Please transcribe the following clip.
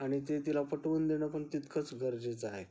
आणि ते तिला पटवून देणं पण तितकंच गरजेचं आहे.